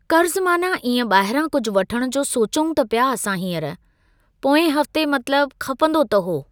कर्ज़ु माना इएं ॿाहिरां कुझु वठणु जो सोचऊं त पिया असां हीअंर, पोएं हफ़्ते मतिलब खपंदो त हो।